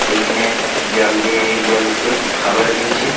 এইখানে জাল দিয়ে খাবার দিনছে --